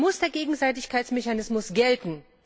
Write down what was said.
Ansonsten muss der Gegenseitigkeitsmechanismus gelten.